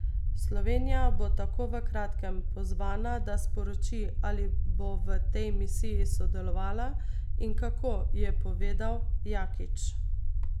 Slovenija bo tako v kratkem pozvana, da sporoči, ali bo v tej misiji sodelovala in kako, je povedal Jakič.